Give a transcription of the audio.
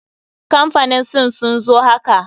Kamfanin sin sun zo haka.